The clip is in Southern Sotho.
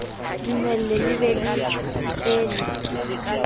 dumelle le be le ele